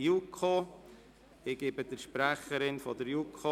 Das Gesetz wurde von der JuKo vorberaten.